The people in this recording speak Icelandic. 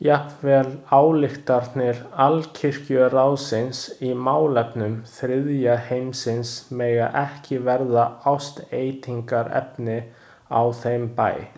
Jafnvel ályktanir Alkirkjuráðsins í málefnum þriðja heimsins mega ekki verða ásteytingarefni á þeim bæ.